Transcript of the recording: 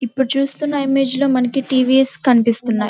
ఇప్పుడు చూస్తున ఇమేజ్ లో మనకి టి.వి.ఎస్. లు కనిపిస్తున్నాయి.